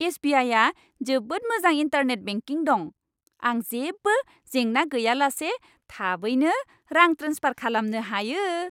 एस.बि.आइ.आ जोबोद मोजां internet banking दं। आं जेबो जेंना गैयालासे थाबैनो रां ट्रेन्सफार खालामनो हायो।